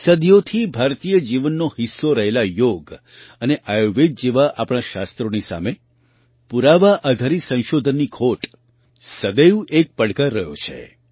સદીઓથી ભારતીય જીવનનો હિસ્સો રહેલા યોગ અને આયુર્વેદ જેવા આપણાં શાસ્ત્રોની સામે પુરાવા આધારિત સંશોધનની ખોટ સદૈવ એક પડકાર રહ્યો છે